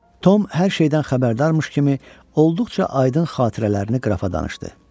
Tom hər şeydən xəbərdarmış kimi olduqca aydın xatirələrini qrafa danışdı.